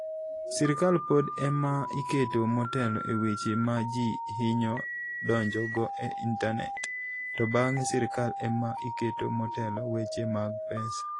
Sirkal pod e ma iketo motelo e weche ma ji hinyo donjogo e intanet, to bang'e sirkal e ma iketo motelo weche mag pesa.